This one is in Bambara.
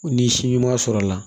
Ni si ɲuman sɔrɔla la